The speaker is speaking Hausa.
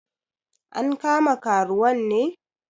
An kama karuwan ne?